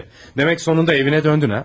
Demək sonunda evine döndün ha?